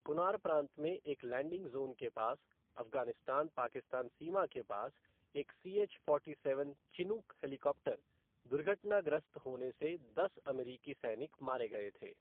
कुनार प्रांत में एक लैंडिंग ज़ोन के पास अफ़गानिस्तान पाकिस्तान सीमा के पास एक CH forty seven Chinook helicopter दुर्घटनाग्रस्त होने से दस अमेरिकी सैनिक मारे गए थे।